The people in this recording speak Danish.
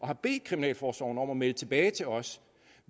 har bedt kriminalforsorgen om at melde tilbage til os